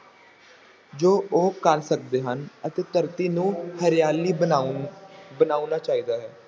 ਜੋ ਉਹ ਕਰ ਸਕਦੇ ਹਨ ਅਤੇ ਧਰਤੀ ਨੂੰ ਹਰਿਆਲੀ ਬਣਾਉਣ ਬਣਾਉਣਾ ਚਾਹੀਦਾ ਹੈ।